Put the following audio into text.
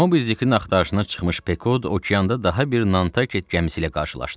Mobidikin axtarışına çıxmış Pekod okeanda daha bir Nanket gəmisi ilə qarşılaşdı.